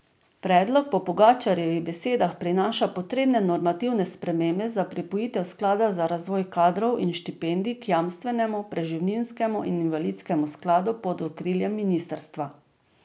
Predlog po Pogačarjevih besedah prinaša potrebne normativne spremembe za pripojitev sklada za razvoj kadrov in štipendij k jamstvenemu, preživninskemu in invalidskemu skladu pod okriljem ministrstva.